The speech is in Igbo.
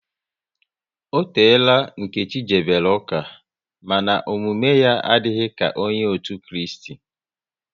Ọ teela Nkechi jebere ụka, mana omume ya adịghị ka nke onye otu Kristi